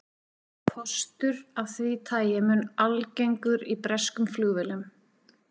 Kostur af því tagi mun algengur í breskum flugvélum.